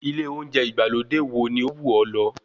Ilé oúnjẹ ìgbàlódé wo ni ó wù ọ́ lọ?